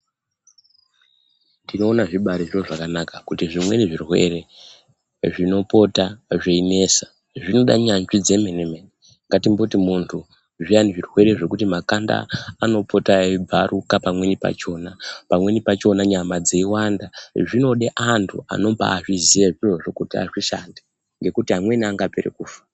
Tino ona zvi bairi zviro zvakanaka kuti zvimweni zvirwere zvino pota zvei nesa zvinoda nyanzvi dze mene mene ngatimboti muntu zviyani zvirwere zvekuti makanda anopota eyi bvaruka pamweni pachona pamweni pachona nyama dzei wanda zvinode antu anobai zviziya zvirozvo kuti azvi shandi ngekuti amweni anopere kufa.